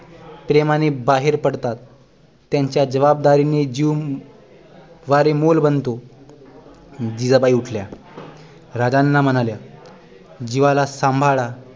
प्रेमाने बाहेर पडतात त्यांच्या जबाबदारीने जीव वारेमोल बनतो जिजाबाई उठल्या राजांना म्हणाल्या जीवाला सांभाळा